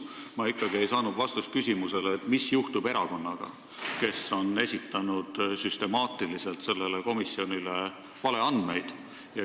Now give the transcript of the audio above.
Ma ei saanud aga ikkagi vastust küsimusele, mis juhtub erakonnaga, kes on esitanud süstemaatiliselt sellele komisjonile valeandmeid.